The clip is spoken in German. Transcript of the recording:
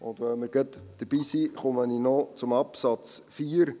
Wenn wir schon dabei sind, komme ich noch zum Absatz 4.